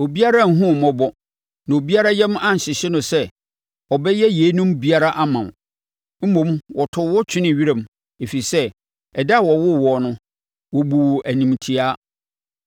Obiara anhunu wo mmɔbɔ, na obiara yam anhyehye no sɛ ɔbɛyɛ yeinom biara ama wo. Mmom wɔtoo wo twenee wiram, ɛfiri sɛ ɛda a wɔwoo woɔ no, wɔbuu wo animtiaa.